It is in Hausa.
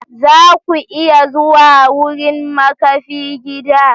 Za ku iya zuwa wurin makafi gida?